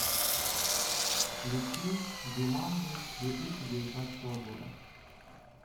включи джуманджи две тысячи девятнадцатого года